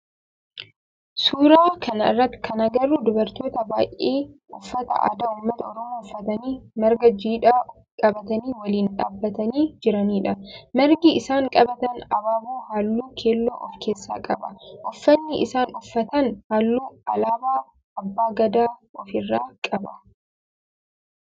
Suuraa kana irratti kan agarru dubartoota baayyee uffata aadaa ummata oromoo uffatanii marga jiidhaa qabatanii waliin dhaabbatanii jiranidha. Margi isaan qabatan abaaboo halluu keelloo of keessaa qaba. Uffanni isaan uffatan halluu alaabaa abba Gadaa of irraa qaba.